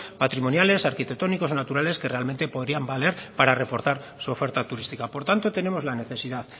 patrimoniales arquitectónicos o naturales que realmente podrían valer para reforzar su oferta turística por tanto tenemos la necesidad